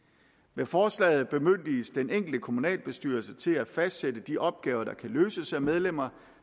med forslaget bemyndiges den enkelte kommunalbestyrelse til at fastsætte de opgaver der kan løses af medlemmer